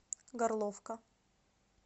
горловка